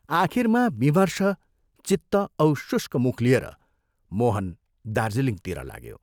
आखिरमा विमर्ष चित्त औ शुष्क मुख लिएर मोहन दार्जीलिङतिर लाग्यो।